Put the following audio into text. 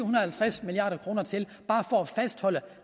og halvtreds milliard kroner til for bare at fastholde